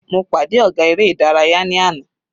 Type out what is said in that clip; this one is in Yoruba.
Mo pàdé ọ̀gá eré ìdárayá ní àná.